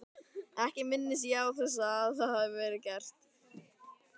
Ekki minnist ég þess að það hafi verið gert.